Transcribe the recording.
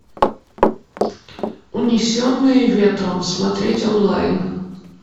унесенные ветром смотреть онлайн